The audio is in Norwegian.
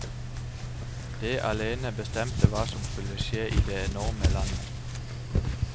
Det alene bestemte hva som skulle skje i det enorme landet.